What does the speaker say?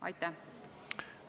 Aitäh!